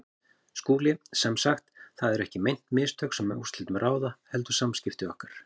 SKÚLI: Sem sagt: það eru ekki meint mistök, sem úrslitum ráða, heldur samskipti okkar?